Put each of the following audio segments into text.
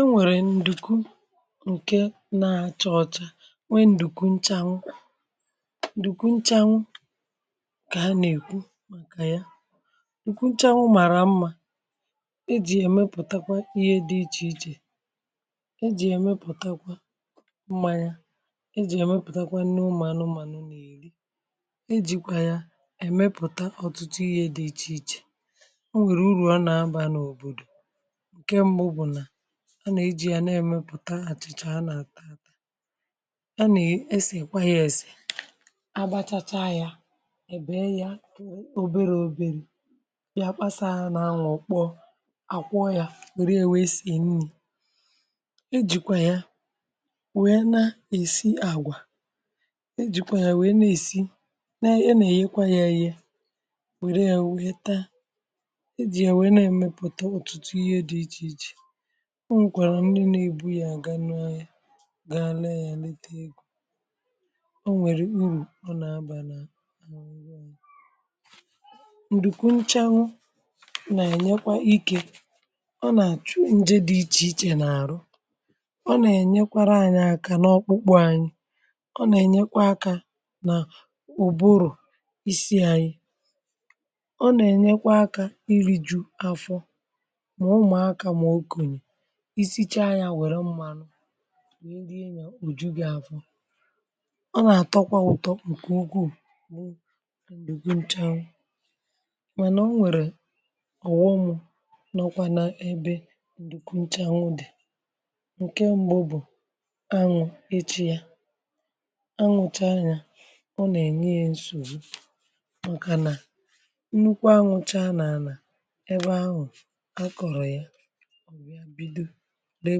enwèrè ǹdùku ǹke na-acha ọcha nwe ǹdùku nchànwụ ǹdùku nchànwụ ǹkè ha nà-èkwu maka ya. ìkwu nchànwụ màrà mmȧ ejì èmepùtakwa ihe dị ichè ichè, ejì èmepùtakwa mmanya, ejì èmepùtakwa nri ụmu ànumanu nà-èri, e jìkwà ya èmepùta ọ̀tụtụ ihe dị̇ ichè ichè ,enwere uru óna a ba na obodo, nke mbù bu na ha nà e ji ya nà èmepùta àchịchà a nà àtaata ,ha nà e ese kwa yȧ èse, agbachacha yȧ èbè ya oberė oberė ya kpasàa hȧ nà anwụ̇ o kpọọ, à kwọ yȧ, wère wèe sèè nni, e jìkwa ya wère na-èsi àgwà, e jìkwa yȧ wère na-èsi a nà ẹ èyekwa yȧ yė, wère yȧ wẹẹ ta e jì yà wère na-èmepùta ọ̀tụtụ ihe dị̇ ichè ichè. ọ nwẹkwàrà ndị na ebu ya ganu ahia gaa ree a ya, reeta a ego. ọ nwẹ̀rẹ̀ urù ọ na aba lị̀ a na oge anyị̀. ǹdùkwu nchanwu nà-ànyekwa ike ọ nà-achụ njẹ dị ichè ichè n’àrụ. ọ nà-ènyekwara anyị̀ aka n’ọkpụkpụ anyị̀, ọ nà-ènyekwa akȧ nà ụ̀bụrụ̀ isi anyị̀ ,ọ nà-ènyekwa akȧ iri̇ju̇ afọ; ma ụmu aka ma okenye, isichaa ya wère mmanụ wee di ya òju gị afọ̀ .ọ nà-àtọkwa ụtọ̀ ǹkè ugwu bụ̀ ndukwu nchànwu. mànà o nwèrè ọ̀họṁ nọkwà n’ebe ǹdùkwu nchànwu dì, ǹke m̀bu bụ̀; anwụ̀ ichá ya, anwụchaa ya ọ nà-ènye ya nsògbu màkànà nnukwu anwụcha nà àlà ebe ahụ a kọ̀rọ̀ ya, ó wee bido ree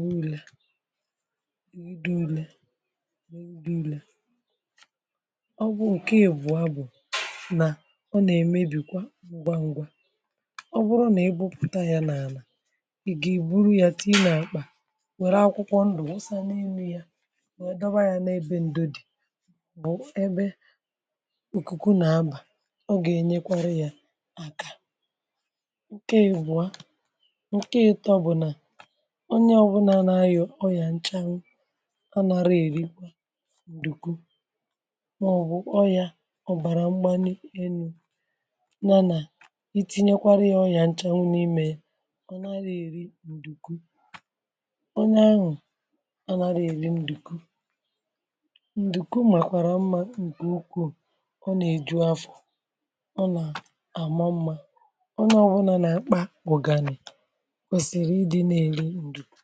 wa ụrẹ̀, bido ule bịdo ule, ọ bụ̀ ǹke èbùo ahu bụ̀ nà, ọ nà ẹmẹbìkwa ngwangwa ọ bụrụ nà ẹ gbopùta yȧ n’àlà, ị gà èburu yȧ tịnye nà ȧkpà, wère akwụkwọ ndụ̀ wụsa n’enu yȧ, wee dọ wa yȧ n’ebe ndo dì ,bụ̀ ẹbẹ ikùkù nà a bà m.ọ gà ẹnyekwara yȧ àkà. ǹke ȧ ebụ̀o a, ǹke atọ bụ̀ nà onye ọwụnà na- aria ọria nchȧn wuu anaghi èri ǹdùkwu màọbụ̀ ọriȧ ọ̀bàrà mgbani enu̇ yȧnà itinyekwara yȧ ọrià nchȧn wụ̀ n’imė, ọ nà-eri ǹdùkwu onye ahụ̀ a nà na-eri ǹdùkwu ,ǹdùkwu mà àkwàrà mmȧ ǹkè ukwuù ọ nà-ejù afọ̀ ọ nà-àma mmȧ ọ nà ọwụlà nà-àkpà ụ̀gànì kwesiri idi na eri ndukwu.